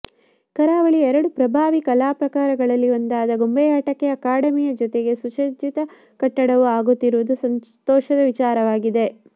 ಕರಾವಳಿಯ ಎರಡು ಪ್ರಭಾವಿ ಕಲಾಪ್ರಕರಗಲ್ಲಿ ಒಂದಾದ ಗೊಂಬೆಯಾಟಕ್ಕೆ ಅಕಾಡೆಮಿಯ ಜೊತೆಗೆ ಸುಸಜ್ಜಿತ ಕಟ್ಟಡವು ಆಗುತ್ತಿರುವುದು ಸಂತೋಷದ ವಿಚಾರವಾಗಿದೆ